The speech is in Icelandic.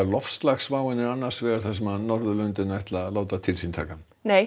loftslagsváin er annars vegar sem Norðurlöndin ætla að láta til sín taka